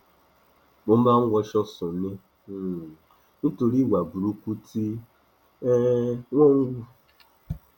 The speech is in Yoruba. mo máa ń wọṣọ sùn ni um nítorí ìwà burúkú tí um wọn ń hù